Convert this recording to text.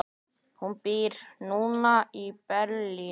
Hún býr núna í Berlín.